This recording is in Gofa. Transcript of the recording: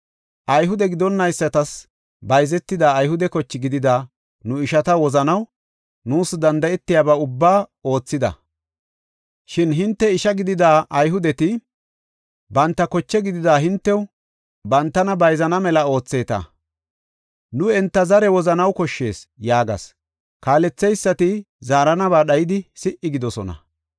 “Ayhude gidonaysatas bayzetida Ayhude koche gidida nu ishata wozanaw nuus danda7etidaba ubbaa oothida. Shin hinte isha gidida Ayhudeti banta koche gidida hintew, bantana bayzana mela ootheeta; nu enta zaari wozanaw koshshees” yaagas. Kaaletheysati zaaranaba dhayidi si77i gidoosona.